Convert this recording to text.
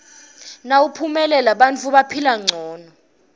nawumuale bantfu baphila ngcono